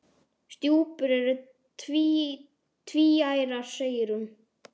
Stjúpur eru tvíærar segir hún.